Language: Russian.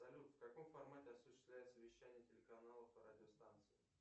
салют в каком формате осуществляется вещание телеканалов и радиостанций